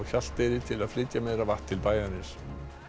Hjalteyri til að flytja meira vatn til bæjarins